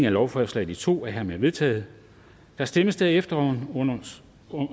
af lovforslaget i to lovforslag er hermed vedtaget der stemmes derefter